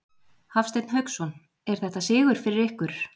Hafsteinn Hauksson: Er þetta sigur fyrir ykkur?